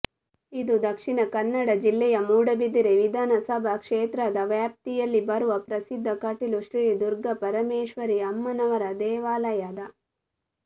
ಇದು ದಕ್ಷಿಣ ಕನ್ನಡ ಜಿಲ್ಲೆಯ ಮೂಡುಬಿದಿರೆ ವಿಧಾನಸಭಾ ಕ್ಷೇತ್ರದ ವ್ಯಾಪ್ತಿಯಲ್ಲಿ ಬರುವ ಪ್ರಸಿದ್ಧ ಕಟೀಲು ಶ್ರೀ ದುರ್ಗಾಪರಮೇಶ್ವರಿ ಅಮ್ಮನವರ ದೇವಾಲಯದ